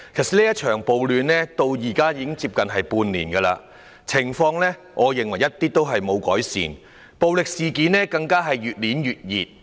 這場暴亂至今已持續近半年，我認為情況一點也沒有改善，暴力事件更是越演越烈。